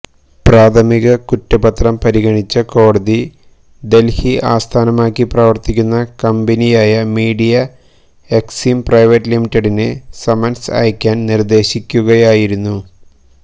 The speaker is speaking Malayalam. പ്രാഥമിക കുറ്റപത്രം പരിഗണിച്ച കോടതി ദല്ഹി ആസ്ഥാനമാക്കി പ്രവര്ത്തിക്കുന്ന കമ്പനിയായ മീഡിയ എക്സിം പ്രൈവറ്റ് ലിമിറ്റഡിന് സമ്മന്സ് അയക്കാന് നിര്ദ്ദേശിക്കുകയായിരുന്നു